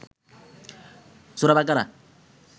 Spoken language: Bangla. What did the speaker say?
সূরা বাকারা